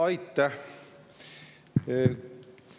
Aitäh!